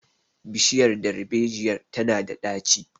bishiyar darbejiyar tana da daci